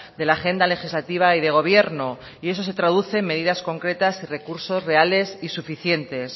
de la agenda legislativa y de gobierno y eso se traduce en medidas concretas y recursos reales y suficientes